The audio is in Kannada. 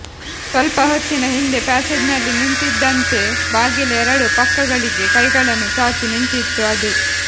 ಸ್ವಲ್ಪ ಹೊತ್ತಿನ ಹಿಂದೆ ಪ್ಯಾಸೇಜ್ನಲ್ಲಿ ನಿಂತಿದ್ದಂತೇ ಬಾಗಿಲ ಎರಡೂ ಪಕ್ಕಗಳಿಗೆ ಕೈಗಳನ್ನು ಚಾಚಿ ನಿಂತಿತ್ತು ಅದು